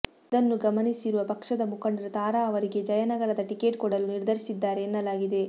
ಇದನ್ನು ಗಮನಿಸಿರುವ ಪಕ್ಷದ ಮುಖಂಡರು ತಾರಾ ಅವರಿಗೆ ಜಯನಗರದ ಟಿಕೆಟ್ ಕೊಡಲು ನಿರ್ಧರಿಸಿದ್ದಾರೆ ಎನ್ನಲಾಗಿದೆ